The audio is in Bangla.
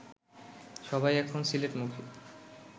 সবাই এখন সিলেটমুখী